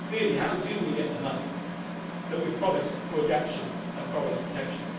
Really, how do we get the money that we promised for adaptation and forest protection?